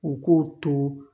U k'o to